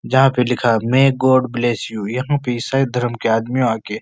जहाँ पे लिखा है मे गॉड ब्लेस यू । यहाँ पे ईसाई धर्म के आदमी आके --